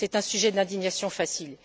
C'est un sujet d'indignation facile.